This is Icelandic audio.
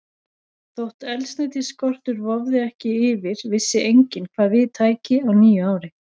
Þótt eldsneytisskortur vofði ekki yfir, vissi enginn, hvað við tæki á nýju ári.